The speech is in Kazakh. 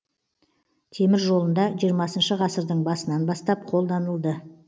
темір жолында жиырмасыншы ғасырдың басынан бастап қолданылды